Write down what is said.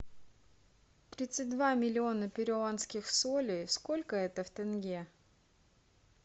тридцать два миллиона перуанских солей сколько это в тенге